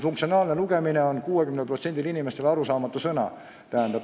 "Funktsionaalne lugemine" on 60% inimestele arusaamatu sõnapaar.